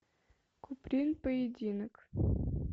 куприн поединок